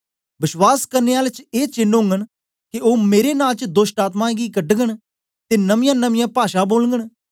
बश्वास करने आलें च ए चेन्न ओगन के ओ मेरे नां च दोष्टआत्मायें गी कढगन ते नमीयांमनीयां भाषा बोलगन